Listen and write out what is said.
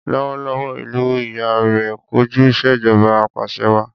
Lọ́wọ́lọ́wọ́, ìlú ìyá rẹ ń kojú ìṣèjọba apàṣẹwàá.